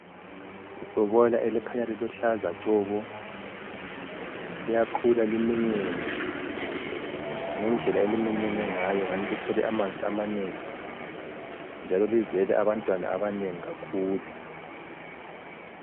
Ibhobola elikhanya liluhlaza tshoko liyakhula liminyene. Ngendlela eliminyene ngayo ngani lithwele amanzi amanengi njalo lizele abantwana abanengi kakhulu.